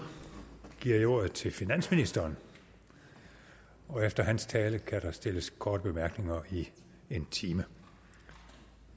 giver jeg ordet til finansministeren og efter hans tale kan der stilles korte bemærkninger i en time